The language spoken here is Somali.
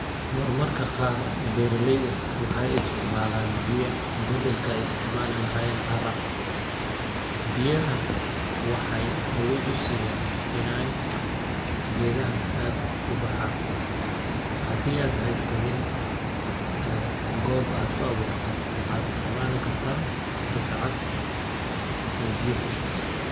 Marmarka qaar beeralayda waxeey isticmalaan biya baddalka ay isticmaali lahayeen carra ,biyaha waxeey awood u siyaan ineey geedaha aad u baxaan .Hadii aad haysanin goob aad ku awuurto waxaad istcmaali kartaa gasacad oo biya ku shubte.